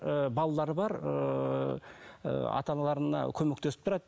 ыыы балалары бар ыыы ата аналарына көмектесіп тұрады